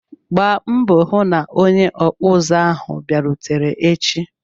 Gbaa mbọ hụ na onye okpu uzu ahu abịarute echi!